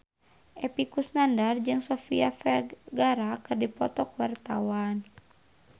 Epy Kusnandar jeung Sofia Vergara keur dipoto ku wartawan